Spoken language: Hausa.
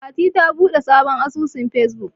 Fatima ta buɗe sabon asusun Fesbuk.